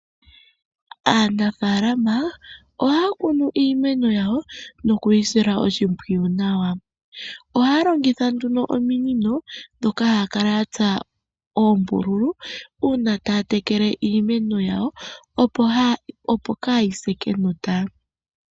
Aanafaalama ohaya kunu iimeno yawo noku yi sila oshimpwiyu nawa. Ohaya longitha nduno ominino ndhoka haya kala ya tsa oombululu uuna taya tekele iimeno yawo opo ka yi se kenota.